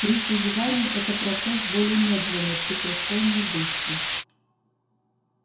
при созидании это процесс более медленный при крушении быстрый